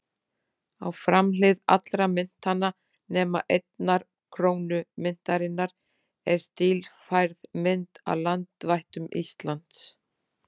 Á framhlið allra myntanna, nema einnar krónu myntarinnar, er stílfærð mynd af landvættum Íslands.